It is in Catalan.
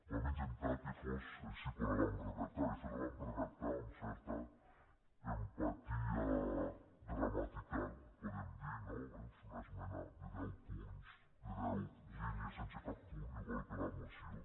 vam intentar que fos així quan la vam redactar de fet la vam redactar amb certa empatia gramatical podem dir no eh és una esmena de deu punts de deu línies sense cap punt igual que la moció